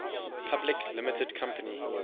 public limited company